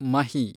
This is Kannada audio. ಮಹಿ